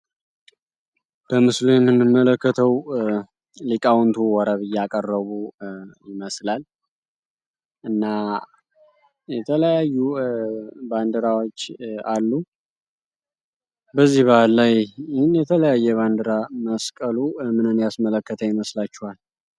በምስሉምን መለከተው ሊቃውንቱ ወረብ እያ ቀረቡ ይመስላል እና የተለያዩ ባንድራዎች አሉ በዚህ ባህል ላይ ን የተለያየ በንድራ መስቀሉ እምንን ያስመለከታ ይመስላቸዋል፡፡